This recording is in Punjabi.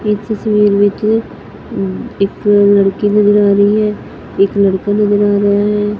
ਇਸ ਤਸਵੀਰ ਵਿੱਚ ਇੱਕ ਲੜਕੀ ਨਜ਼ਰ ਆ ਰਹੀ ਹੈ ਇੱਕ ਲੜਕਾ ਨਜ਼ਰ ਆ ਰਿਹਾ ਹੈ।